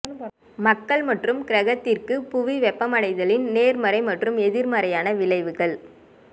மக்கள் மற்றும் கிரகத்திற்கு புவி வெப்பமடைதலின் நேர்மறை மற்றும் எதிர்மறையான விளைவுகள்